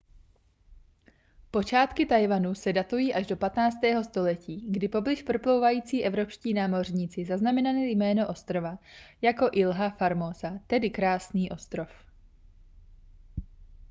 počátky taiwanu se datují až do 15. století kdy poblíž proplouvající evropští námořníci zaznamenali jméno ostrova jako ilha formosa tedy krásný ostrov